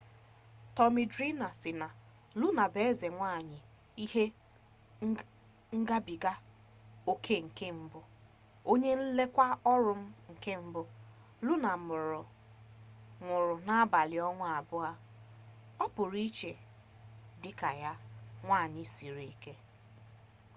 tọmi drima sị na luna bụ eze nwaanyị ihe ngabiga oke nke mbụ onye nlekwa ọrụ m nke mbụ luna nwụrụ n'abalị ọnwa abụọ ọ pụrụ iche dị ka ya nwaanyị siri ike